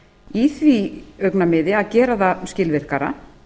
í því augnamiði að gera það skilvirkara